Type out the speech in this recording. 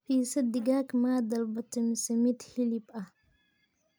pizza digag maa dalbate mise mid hilib ahh